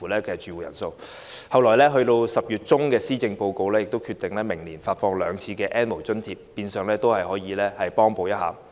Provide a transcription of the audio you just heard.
其後，行政長官在10月中發表的施政報告中決定，明年將發放兩次 "N 無人士"津貼，變相可以幫補一下。